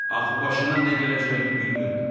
Axı başına nə gələcəyini bilmirdi.